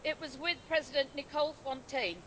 it was with President Nicole Fontaine.